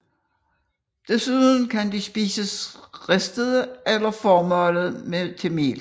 Desuden kan de spises ristede eller formalet til mel